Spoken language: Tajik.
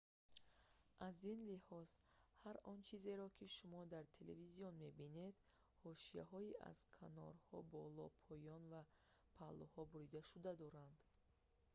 аз ин лиҳоз ҳар он чизеро ки шумо дар телевизион мебинед ҳошияҳои аз канорҳо боло поён ва паҳлӯҳо буридашуда доранд